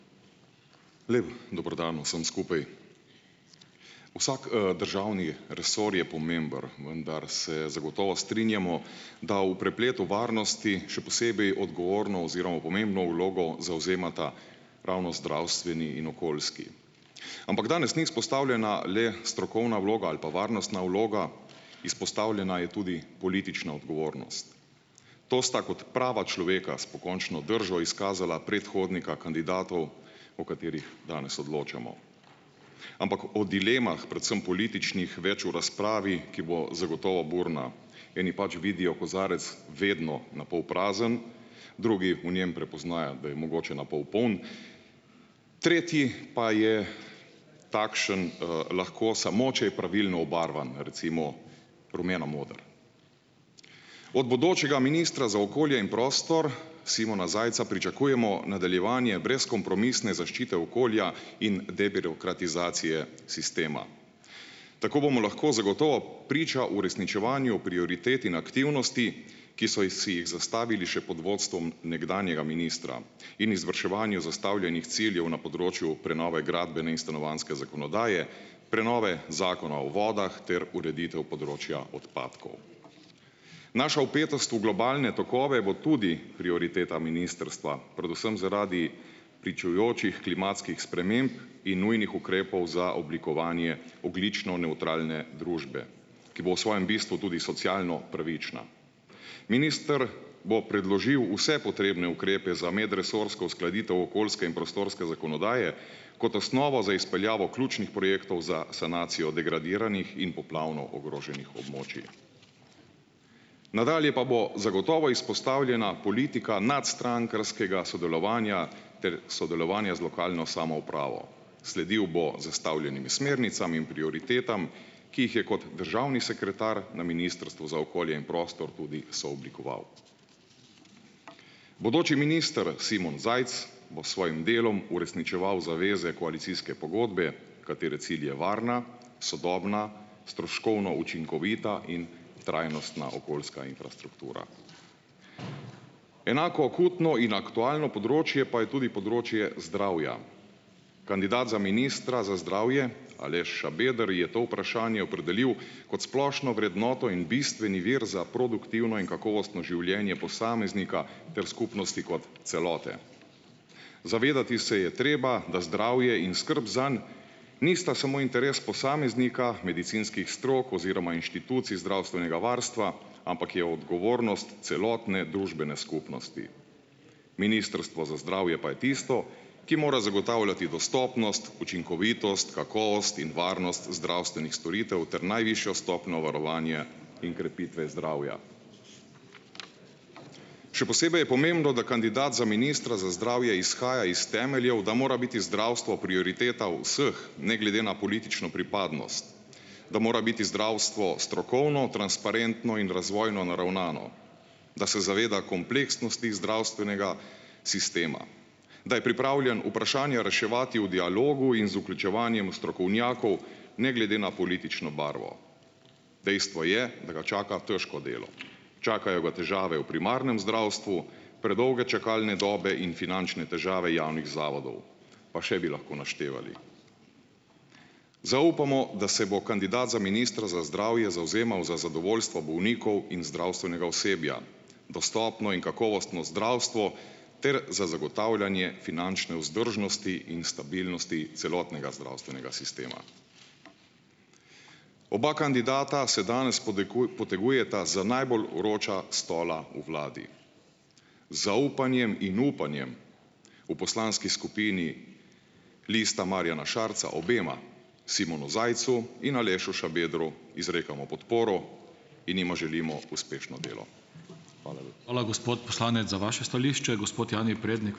Lep dober dan vsem skupaj. Vsak, državni resor je pomemben, vendar se zagotovo strinjamo, da v prepletu varnosti, še posebej odgovorno oziroma pomembno vlogo zavzemata ravno zdravstveni in okoljski. Ampak danes ni izpostavljena le strokovna vloga ali pa varnostna vloga, izpostavljena je tudi politična odgovornost. To sta kot prava človeka, s pokončno držo, izkazala predhodnika kandidatov, o katerih danes odločamo. Ampak o dilemah, predvsem političnih, več v razpravi, ki bo zagotovo burna. Eni pač vidijo kozarec vedno na pol prazen, drugi v njem prepoznajo, da je mogoče na pol poln, tretji pa je takšen, lahko samo, če je pravilno obarvan, recimo rumeno moder. Od bodočega ministra za okolje in prostor, Simona Zajca, pričakujemo nadaljevanje brezkompromisne zaščite okolja in debirokratizacije sistema. Tako bomo lahko zagotovo priča uresničevanju prioritet in aktivnosti, ki so si jih zastavili še pod vodstvom nekdanjega ministra in izvrševanju zastavljenih ciljev na področju prenove gradbene in stanovanjske zakonodaje, prenove Zakona o vodah ter ureditev področja odpadkov. Naša vpetost v globalne tokove bo tudi prioriteta ministrstva, predvsem zaradi pričujočih klimatskih sprememb in nujnih ukrepov za oblikovanje ogljično nevtralne družbe, ki bo v svojem bistvu tudi socialno pravična. Minister bo predložil vse potrebne ukrepe za medresorsko uskladitev okoljske in prostorske zakonodaje, kot osnovo za izpeljavo ključnih projektov za sanacijo degradiranih in poplavno ogroženih območij. Nadalje pa bo zagotovo izpostavljena politika nadstrankarskega sodelovanja ter sodelovanje z lokalno samoupravo. Sledil bo zastavljenim smernicam in prioritetam, ki jih je kot državni sekretar na Ministrstvu za okolje in prostor tudi sooblikoval. Bodoči minister, Simon Zajc, bo s svojim delom uresničeval zaveze koalicijske pogodbe, katere cilj je varna, sodobna, stroškovno učinkovita in trajnostna okoljska infrastruktura. Enako akutno in aktualno področje pa je tudi področje zdravja. Kandidat za ministra za zdravje, Aleš Šabeder, je to vprašanje opredelil kot splošno vrednoto in bistveni vir za produktivno in kakovostno življenje posameznika ter skupnosti kot celote. Zavedati se je treba, da zdravje in skrb zanj nista samo interes posameznika, medicinskih strok oziroma inštitucij zdravstvenega varstva, ampak je odgovornost celotne družbene skupnosti. Ministrstvo za zdravje pa je tisto, ki mora zagotavljati dostopnost, učinkovitost, kakovost in varnost zdravstvenih storitev ter najvišjo stopnjo varovanja in krepitve zdravja. Še posebej je pomembno, da kandidat za ministra za zdravje izhaja iz temeljev, da mora biti zdravstvo prioriteta vseh, ne glede na politično pripadnost, da mora biti zdravstvo strokovno, transparentno in razvojno naravnano, da se zaveda kompleksnosti zdravstvenega sistema, da je pripravljen vprašanja reševati v dialogu in z vključevanjem strokovnjakov, ne glede na politično barvo. Dejstvo je, da ga čaka težko delo. Čakajo ga težave v primarnem zdravstvu, predolge čakalne dobe in finančne težave javnih zavodov, pa še bi lahko naštevali. Zaupamo, da se bo kandidat za ministra za zdravje zavzemal za zadovoljstvo bolnikov in zdravstvenega osebja, dostopno in kakovostno zdravstvo ter za zagotavljanje finančne vzdržnosti in stabilnosti celotnega zdravstvenega sistema. Oba kandidata se danes potegujeta za najbolj vroča stola v vladi. Z zaupanjem in upanjem. V poslanski skupini Lista Marjana Šarca obema Simonu Zajcu in Alešu Šabedru izrekamo podporo in jima želimo uspešno delo. Hvala.